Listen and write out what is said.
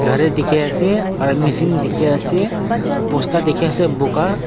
Gari dekhey ase aro machine dekhey ase bosta dekhey ase buka.